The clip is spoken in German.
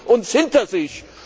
Dann haben Sie uns hinter sich.